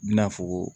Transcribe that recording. I bina fɔ ko